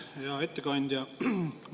Hea ettekandja!